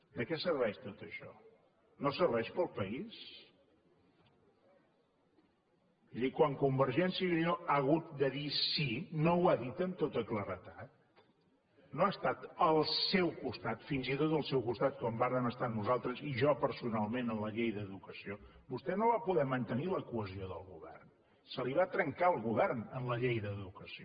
de què serveix tot això no serveix per al país és a dir quan convergència i unió ha hagut de dir sí no ho ha dit amb tota claredat no ha estat al seu costat fins i tot al seu costat com vàrem estar nosaltres i jo personalment en la llei d’educació vostè no va poder mantenir la cohesió del govern se li va trencar el govern en la llei d’educació